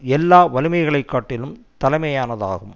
எல்லா வலிமைகளை காட்டிலும் தலைமையானதாகும்